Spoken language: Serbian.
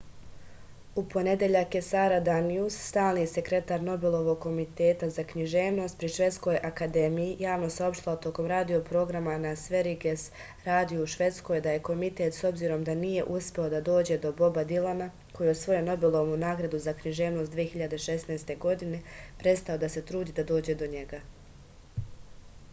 u ponedeljak je sara danijus stalni sekretar nobelovog komiteta za književnost pri švedskoj akademiji javno saopštila tokom radio programa na sveriges radiju u švedskoj da je komitet s obzirom da nije uspeo da dođe do boba dilana koji je osvojio nobelovu nagradu za književnost 2016. godine prestao da se trudi da dođe do njega